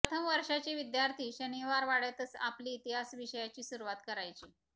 प्रथम वर्षाचे विद्यार्थी शनिवारवाड्यातच आपली इतिहास विषयाची सुरुवात करायचे